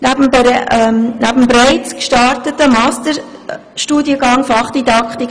Neben dem bereits gestarteten Masterstudiengang Fachdidaktik